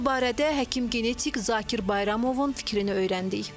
Mövzu barədə həkim-genetik Zakir Bayramovun fikrini öyrəndik.